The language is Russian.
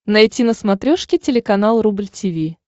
найти на смотрешке телеканал рубль ти ви